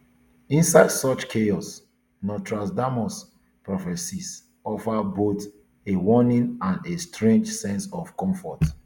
inside such chaos nostradamus prophecies offer both a warning and a strange sense of comfort